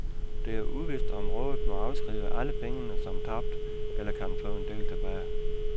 Det er uvist, om rådet må afskrive alle pengene som tabt eller kan få en del tilbage.